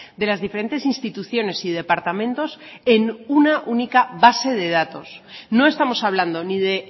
de las diferentes instituciones y departamentos en una única base de datos no estamos hablando ni de